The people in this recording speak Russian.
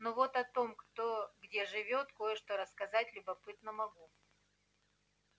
но вот о том кто где живёт кое-что рассказать любопытно могу